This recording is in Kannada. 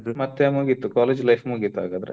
ಮತ್ತೆ ಮುಗೀತು college life ಮುಗೀತು ಹಾಗಾದ್ರೆ.